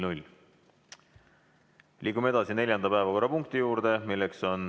Liigume neljanda päevakorrapunkti juurde.